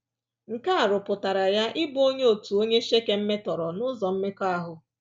Nke a rụpụtara ya ịbụ onye otu onye Shekem metọrọ n’ụzọ mmekọahụ.